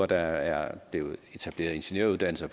der er etableret ingeniøruddannelse